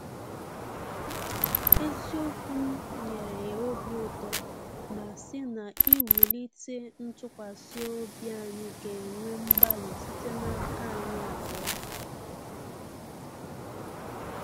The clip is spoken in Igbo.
Eziokwu m nyere ya obi uto ma sị na iwulite ntụkwasị obi anyi ga-ewe mgbalị site n’aka anyị abụọ